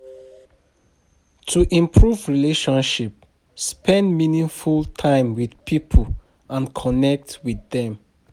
To improve relationship, spend meaningful time with pipo and connect with dem